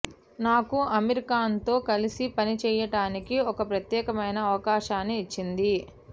నాకు అమీర్ ఖాన్తో కలిసి పనిచేయడానికి ఒక ప్రత్యేకమైన అవకాశాన్ని ఇచ్చింది